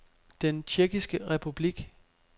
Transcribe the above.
Den Tjekkiske Republik